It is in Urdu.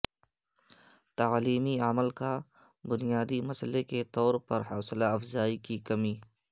تعلیمی عمل کا بنیادی مسئلہ کے طور پر حوصلہ افزائی کی کمی